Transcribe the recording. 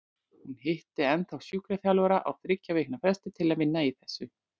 Hún hitti ennþá sjúkraþjálfara á þriggja vikna fresti til að vinna í þessu.